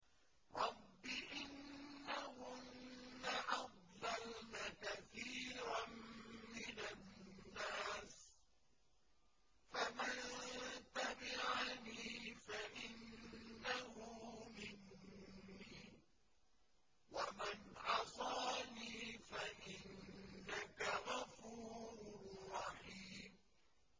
رَبِّ إِنَّهُنَّ أَضْلَلْنَ كَثِيرًا مِّنَ النَّاسِ ۖ فَمَن تَبِعَنِي فَإِنَّهُ مِنِّي ۖ وَمَنْ عَصَانِي فَإِنَّكَ غَفُورٌ رَّحِيمٌ